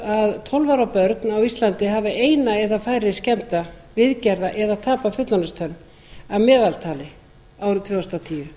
að tólf ára börn á íslandi hafi eina eða færri skemmda viðgerða eða tapað fullorðinstönn að meðaltali árið tvö þúsund og tíu